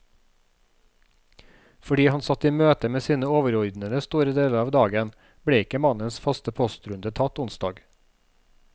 Fordi han satt i møte med sine overordnede store deler av dagen, ble ikke mannens faste postrunde tatt onsdag.